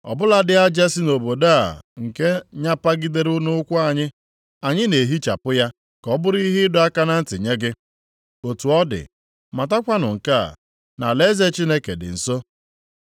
‘Ọ bụladị aja si nʼobodo a nke nyapagidere nʼụkwụ anyị, anyị na-ehichapụ ya ka ọ bụrụ ihe ịdọ aka ntị nye gị. Otu ọ dị, matakwanụ nke a, na alaeze Chineke dị nso.’